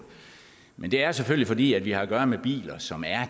men det er selvfølgelig fordi vi har at gøre med biler som er